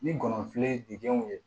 Ni gɔbɔni ye didenw ye